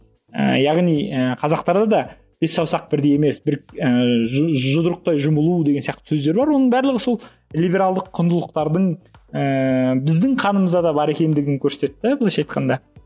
яғни ы қазақтарда да бес саусақ бірдей емес ыыы жұдырықтай жұмылу деген сияқты сөздер бар оның барлығы сол либералды құндылықтардың ііі біздің қанымызда да бар екендігін көрсетеді де былайша айтқанда